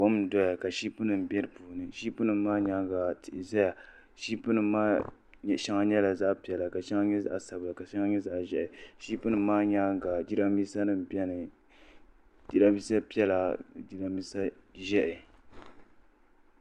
Kom n doya ka ship nim bɛ di puuni ship nim maa nyaanga tihi ʒɛya ship nim maa shɛŋa nyɛla zaɣ piɛla ka shɛŋa nyɛ zaɣ sabila ka shɛŋa nyɛ zaɣ ʒiɛhi ship nim maa nyaanga jiranbiisa nim biɛni jiranbiisa piɛla jiranbiisa ʒiɛhi